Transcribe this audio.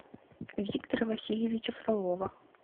виктора васильевича фролова